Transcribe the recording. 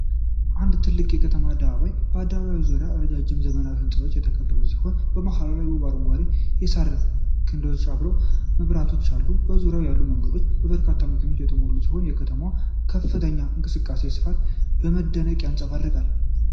አንድ ትልቅ ክብ የከተማ አደባባይ ነው። አደባባዩ በዙሪያው በረጃጅም ዘመናዊ ህንፃዎች የተከበበ ሲሆን፣ መሃሉ ላይ ውብ አረንጓዴ የሳር ክዳንና አብሪ መብራቶች አሉት። በዙሪያው ያሉት መንገዶች በበርካታ መኪናዎች የተሞሉ ሲሆኑ የከተማዋን ከፍተኛ እንቅስቃሴና ስፋት በመደነቅ ያንጸባርቃል።